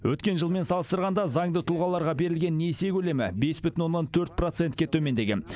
өткен жылмен салыстырғанда заңды тұлғаларға берілген несие көлемі бес бүтін оннан төрт процентке төмендеген